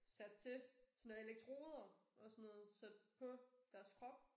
Sat til sådan noget elektroder og sådan noget sat på deres krop